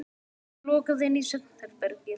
Það var lokað inn í svefnherbergið.